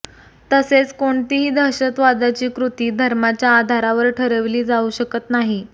तसेच कोणतीही दहशतवादाची कृती धर्माच्या आधारावर ठरविली जाऊ शकत नाही